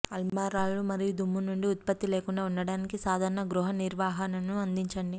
అల్మారాలు మరియు దుమ్ము నుండి ఉత్పత్తి లేకుండా ఉండటానికి సాధారణ గృహ నిర్వహణను అందించండి